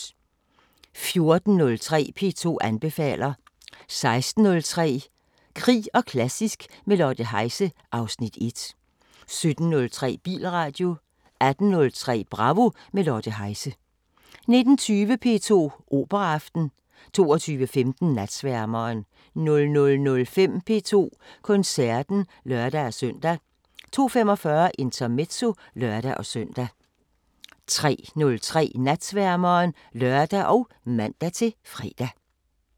14:03: P2 anbefaler 16:03: Krig og klassisk – med Lotte Heise (Afs. 1) 17:03: Bilradio 18:03: Bravo – med Lotte Heise 19:20: P2 Operaaften 22:15: Natsværmeren 00:05: P2 Koncerten (lør-søn) 02:45: Intermezzo (lør-søn) 03:03: Natsværmeren (lør og man-fre)